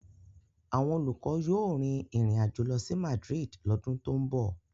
Àwọn olùkọ́ yóò rin ìrìn àjò lọ sí Madrid lọ́dún tó ń bọ̀.